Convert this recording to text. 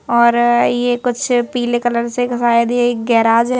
और ये कुछ पीले कलर से शायद यह गैराज है।